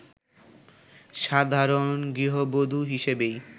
সাধারণ গৃহবধূ হিসেবেই